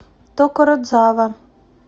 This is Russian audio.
токородзава